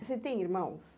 Você tem irmãos?